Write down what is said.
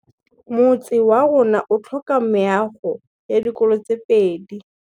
Motse warona o tlhoka meago ya dikolô tse pedi.